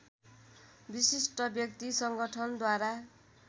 विशिष्ट व्यक्ति संगठनद्वारा